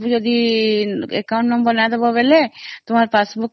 ଯେ account number ନ ଦେଲେ passbook ମିଳିବନି